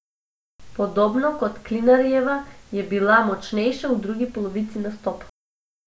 Podobno kot Klinarjeva je bila močnejša v drugi polovici nastopa.